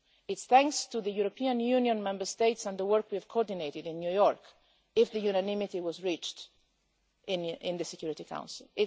It is thanks to the European Union Member States and the work we have coordinated in New York that unanimity was reached in the Security Council.